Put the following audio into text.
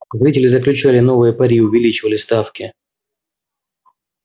зрители заключали новые пари увеличивали ставки